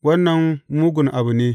Wannan mugun abu ne.